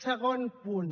segon punt